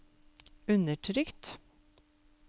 undertrykt